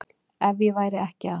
Ef ég væri ekki að